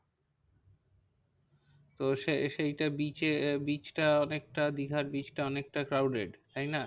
তো সে সেইটা bridge এ আহ bridge টা অনেকটা দীঘার bridge টা অনেকটা crowded তাই না?